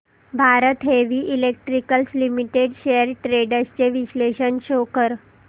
Bharat heavy electricals limited shares trends चे विश्लेषण show कर